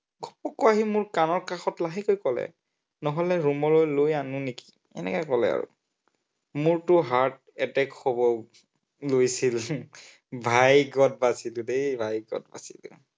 আকৌ আহি মোৰ কাণৰ কাষত লাহেকৈ কলে, নহলে room লৈ লৈ আনো নেকি? এনেকে কলে আৰু। মোৰটো heart attack হব লৈছিল ভাগ্য়ত বাচিলো দেই, ভাগ্য়ত বাচিলো।